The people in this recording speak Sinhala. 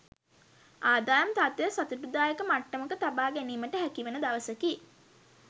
ආදායම් තත්ත්වය සතුටුදායක මට්ටමක තබා ගැනීමට හැකිවන දවසකි.